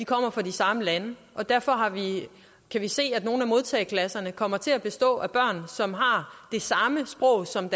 kommer fra de samme lande og derfor kan vi se at nogle af modtageklasserne kommer til at bestå af børn som har det samme sprog som